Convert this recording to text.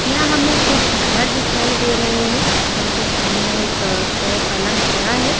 यहाँ हमें कुछ घर दिखाई दे रहे है घर के सामने एक जो है पलंग खड़ा है।